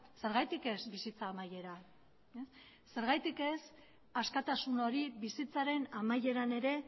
zergatik ez bizitza amaiera zergatik ez askatasun hori bizitzaren amaieran ere